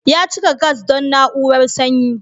Ya cika gas don na'urar sanyi.